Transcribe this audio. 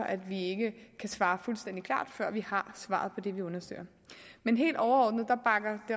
at vi ikke kan svare fuldstændig klart før vi har svaret på det vi undersøger men helt overordnet bakker